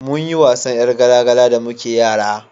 munyi wasan yar gala gala da muke yara